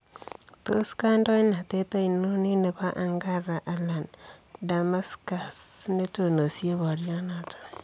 Tos kandoinatet ainon en nebo Ankara anan Damascus netonosie boryonoton.